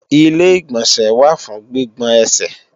Ilé-ìgbọ̀nsẹ̀ wà fún gbígbọn ẹsẹ̀